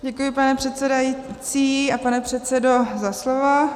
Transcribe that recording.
Děkuji, pane předsedající a pane předsedo, za slovo.